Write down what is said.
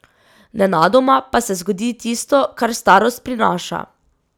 Nenadoma pa se zgodi tisto, kar starost prinaša.